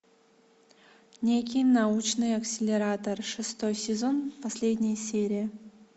некий научный акселератор шестой сезон последняя серия